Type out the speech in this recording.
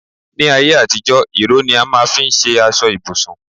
Ní ayé àtijó, ìró ni a máà ń fi ṣe aṣọ ibùsùn